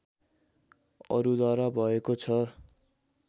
अरूद्वारा भएको छ